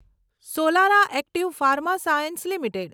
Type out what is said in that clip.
Solara Active Pharma Science limited